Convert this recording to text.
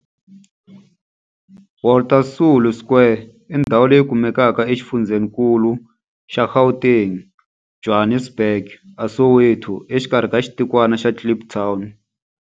Walter Sisulu Square i ndhawu leyi kumekaka exifundzheninkulu xa Gauteng, Johannesburg, a Soweto, exikarhi ka xitikwana xa Kliptown.